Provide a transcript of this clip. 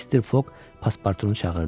Mr. Fog paspartunu çağırdı.